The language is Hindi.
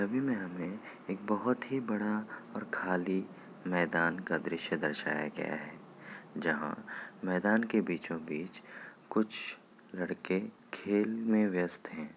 छवि में हमें एक बहुत ही बड़ा और खाली मैदान का दृश्य दर्शाया गया है जहां मैदान के बीचो- बीच कुछ लड़के खेल में व्यस्त हैं ।